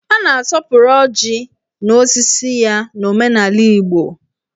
A na-asọpụrụ ọjị na osisi ya n'omenala Igbo.